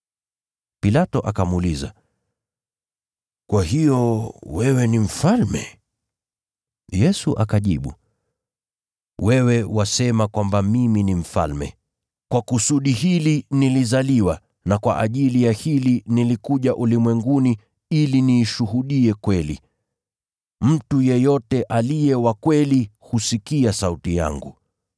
Pilato akamuuliza, “Kwa hiyo wewe ni mfalme?” Yesu akajibu, “Wewe wasema kwamba mimi ni mfalme. Kwa kusudi hili nilizaliwa, na kwa ajili ya hili nilikuja ulimwenguni, ili niishuhudie kweli. Mtu yeyote aliye wa kweli husikia sauti yangu.”